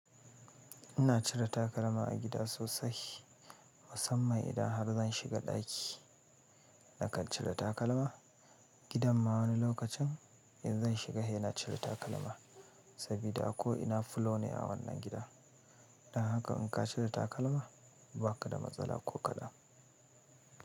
Ina cire takalma a gida sosai, musamman idan har zan shiga ɗaki nakan cire takalma. Gidanma wani lokacin in zan shiga ina cire takalma saboda a ko ina fulawane a wannan gida. Dan haka in ka cire takalma ba ka da matsala ko kaɗan.